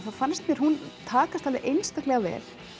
þá fannst mér hún takast einstaklega vel